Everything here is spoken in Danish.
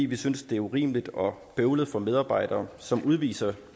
vi synes det er urimeligt og bøvlet for medarbejdere som udviser